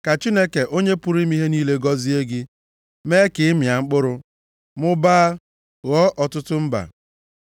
Ka Chineke Onye pụrụ ime ihe niile, gọzie gị, mee ka ị mịa mkpụrụ, mụbaa, ghọọ ọtụtụ mba.